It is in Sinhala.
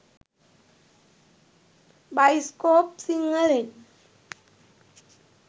෴බයිස්කෝප් සිංහලෙන්෴